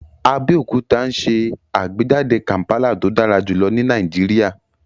Abeokuta n ṣe agbejade kampala to dara julọ ni Nàìjíríà